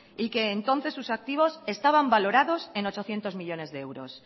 y que entonces sus activos estaban valorados en ochocientos millónes de euros